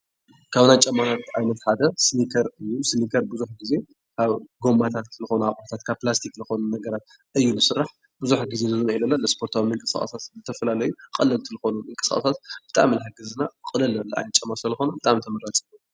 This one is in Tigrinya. ካብ ናይ ጫማ ዓይነት ሓደ ሲኒከር እዩ። ሲኒከር ብዙሕ ግዜ ካብ ጎማታት ዝኮኑ አቁሑታት፣ ካብ ፕላስቲክ ዝኮኑ ነገራት እዩ ዝስራሕ። ብዙሕ ግዜ ናይ ስፖርታዊ ምንቅስቃሳት፣ ዝተፈላለዩ ቀለልቲ ዝኮኑ ምንቅስቃሳት ብጣዕሚ እዩ ይሕግዝ እና ቅልል ዝበለ ዓይነት ጫማ ስለዝኮነ ብጣዕሚ እዩ ተመራፂ።